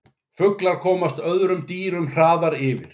Fuglar komast öðrum dýrum hraðar yfir.